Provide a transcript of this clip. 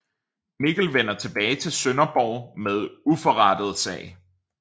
Mikkel vender tilbage til Sønderborg med uforrettet sag